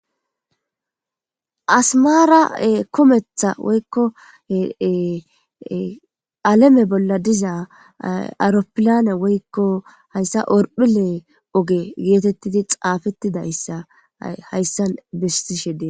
Asmaara kometha woykko aleme bolla diza auropilyane woykko hayssa orphile oge geetettidi xaafettidayssa hayssan bistishe dees.